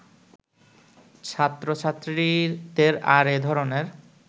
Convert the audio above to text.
ছাত্রছাত্রীদের আর এ ধরনের